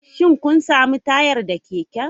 Shin kun sami tayar da keken?